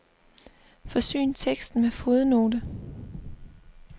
Forsyn teksten med fodnote.